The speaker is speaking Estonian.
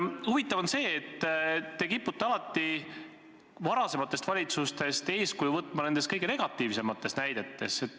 Huvitav on see, et te kipute varasematest valitsustest eeskuju võtma nende kõige negatiivsemates otsustes.